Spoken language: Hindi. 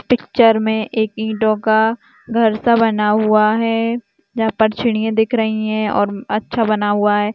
पिक्चर में एक ईटों का घर सा बना हुआ है जहाँ पर चिड़िया दिख रही है और अच्छा बना हुआ है।